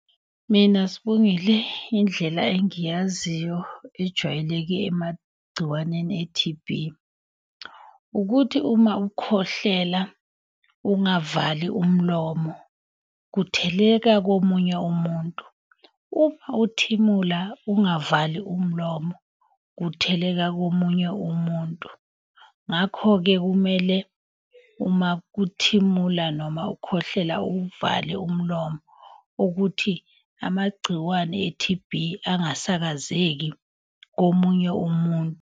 Mina Sibongile indlela engiyaziyo ejwayeleke emagciwaneni e-T_B, ukuthi uma ukhwehlela, ungavali umlomo, kutheleka komunye umuntu. Uma uthimula ungavali umlomo kutheleka komunye umuntu. Ngakho-ke kumele uma kuthimula noma ukhwehlela uvale umlomo, ukuthi amagciwane e-T_B angasakazeki komunye umuntu.